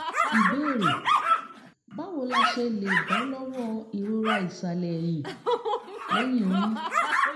ìbéèrè: báwo la ṣe lè bọ́ lọ́wọ́ ìrora ìsàlẹ̀ ẹ̀yìn lẹ́yìn oyún?